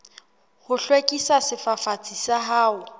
ho hlwekisa sefafatsi sa hao